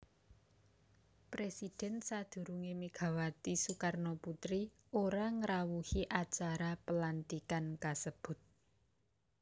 Presidhèn sadurungé Megawati Soekarnoputri ora ngrawuhi acara pelantikan kasebut